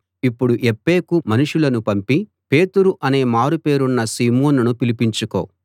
ఇప్పుడు యొప్పేకు మనుషులను పంపి పేతురు అనే మారు పేరున్న సీమోనును పిలిపించుకో